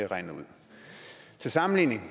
regnet ud til sammenligning